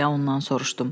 deyə ondan soruşdum.